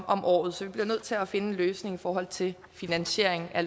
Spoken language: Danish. om året så vi bliver nødt til at finde en løsning i forhold til finansieringen af